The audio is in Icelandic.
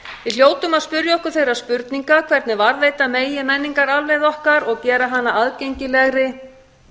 við hljótum að spyrja okkur þeirra spurninga hvernig varðveita megi menningararfleifð okkar og gera hana aðgengilegri